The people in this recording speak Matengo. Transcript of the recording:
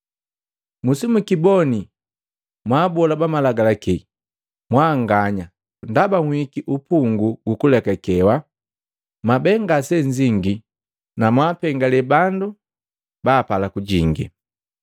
“Musimukiboni mwaabola bamalagalaki mbanganya! Ndaba nhihiki upunguu gukuelewa. Mwabe ngasennzingi na mwaapengali bandu baapala kujingi!”